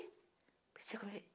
Eu pensei comigo.